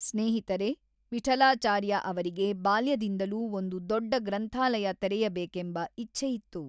ಸ್ನೇಹಿತರೇ, ವಿಠಲಾಚಾರ್ಯ ಅವರಿಗೆ ಬಾಲ್ಯದಿಂದಲೂ ಒಂದು ದೊಡ್ಡ ಗ್ರಂಥಾಲಯ ತೆರೆಯಬೇಕೆಂಬ ಇಚ್ಛೆಯಿತ್ತು.